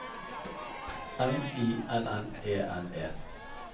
M I N N E N E